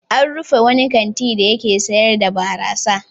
An rufe wani kanti dake sayar da barasa.